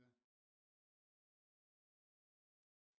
Ja